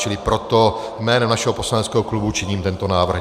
Čili proto jménem našeho poslaneckého klubu činím tento návrh.